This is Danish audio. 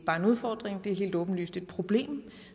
er en udfordring det er helt åbenlyst et problem